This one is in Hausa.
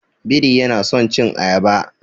Biri yana son cin ayaba.